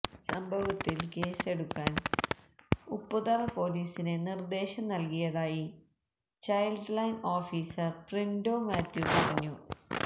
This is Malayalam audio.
സംഭവത്തില് കേസെടുക്കാന് ഉപ്പുതറ പോലീസിന് നിര്ദ്ദേശം നല്കിയതായി child line officer Printo Mathew പറഞ്ഞു